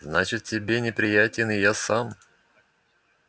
значит тебе неприятен и я сам